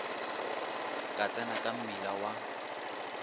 ka tsena ka mmila wa